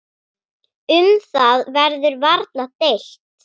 Um það verður varla deilt.